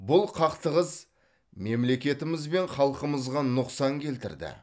бұл қақтығыс мемлекетіміз бен халқымызға нұқсан келтірді